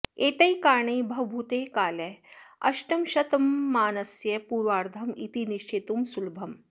एतैः कारणैः भवभूतेः कालः अष्टमशतमानस्य पूर्वार्धम् इति निश्चेतुं सुलभम्